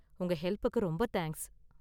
உங்க ஹெல்ப்புக்கு ரொம்ப தேங்க்ஸ்.